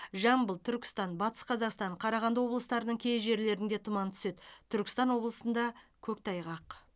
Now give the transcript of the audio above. жамбыл түркістан батыс қазақстан қарағанды облыстарының кей жерлерінде тұман түседі түркістан облысында көктайғақ